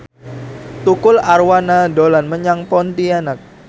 Tukul Arwana dolan menyang Pontianak